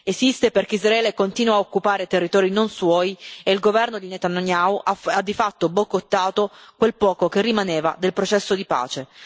Esiste perché Israele continua a occupare territori non suoi e il governo di Netanyahu ha di fatto boicottato quel poco che rimaneva del processo di pace.